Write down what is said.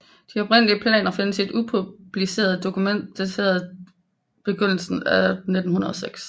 De oprindelige planer findes i et upubliceret dokument dateret begyndelsen af 1906